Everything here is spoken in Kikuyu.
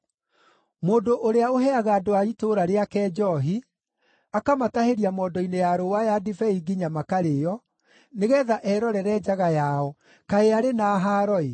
“Mũndũ ũrĩa ũheaga andũ a itũũra rĩake njoohi, akamatahĩria mondo-inĩ ya rũũa ya ndibei nginya makarĩĩo, nĩgeetha erorere njaga yao, kaĩ arĩ na haaro-ĩ!